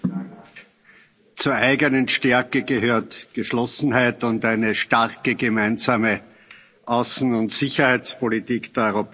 Zur eigenen Stärke gehören Geschlossenheit und eine starke gemeinsame Außen und Sicherheitspolitik der Europäischen Union.